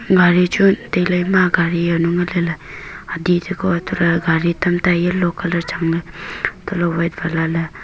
gari chu tailey ema gari jaonu ngan ley ley adi tekuh a hato ley gari tam ta yellow colour changley hato ley white wala ley.